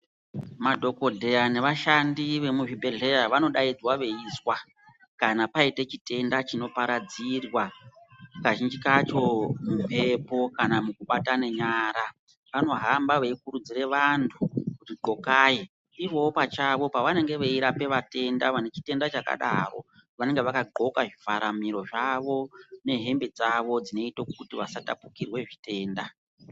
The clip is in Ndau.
Madhokodheya nevashandi vemuzvibhedhleya vanodaidzirwa veizwa kana paite chitenda chinoparadzira kazhinji kacho mumbepo kana mukabatane nyara vanohamba veikurudzire vantu kuti qhokai , ivoo pachavo pavanaenge veirapa vatenda vanenge vane chitenda chakadaro vanenge vakaqhoka zvivhara mhiro dzavo nehembe dzavo zvinoite kuti vasatapukirwe zvitenda.